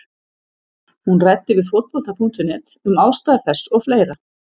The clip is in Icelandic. Hún ræddi við Fótbolta.net um ástæður þess og fleira.